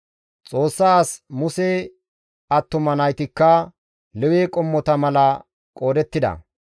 Xoossa as Muse attuma naytikka Lewe qommota mala qoodettida.